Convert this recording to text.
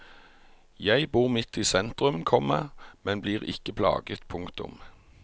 Jeg bor midt i sentrum, komma men blir ikke plaget. punktum